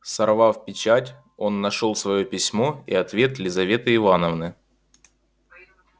сорвав печать он нашёл своё письмо и ответ лизаветы ивановны